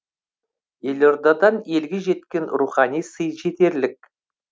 елордадан елге жеткен рухани сый жетерлік